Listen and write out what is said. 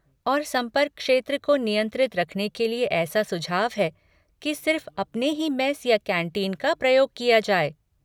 और संपर्क क्षेत्र को नियंत्रित रखने के लिए ऐसा सुझाव है कि सिर्फ़ अपने ही मेस या कैंटीन का प्रयोग किया जाए।